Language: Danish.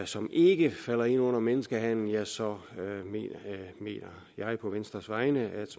som ikke falder ind under menneskehandel ja så mener jeg på venstres vegne at